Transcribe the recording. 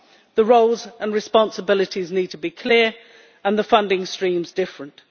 The roles and responsibilities need to be clear and the funding streams different.